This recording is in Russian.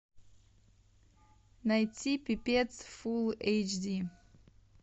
найти пипец фул эйч ди